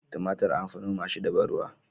Tumatir an fi noma shi da ban ruwa